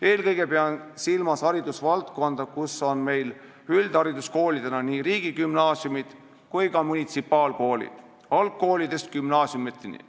Eelkõige pean silmas hariduse valdkonda, kus üldhariduskoolidena tegutsevad nii riigigümnaasiumid kui ka munitsipaalkoolid algkoolidest gümnaasiumiteni.